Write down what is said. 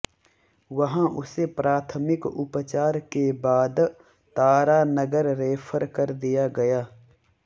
वहां उसे प्राथमिक उपचार के बाद तारानगर रेफर कर दिया गया